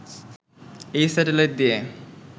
এই স্যাটেলাইট দিয়ে